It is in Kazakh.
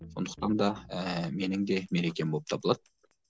сондықтан да ііі менің де мерекем болып табылады